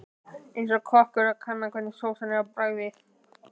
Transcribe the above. Eins og kokkur að kanna hvernig sósa er á bragðið.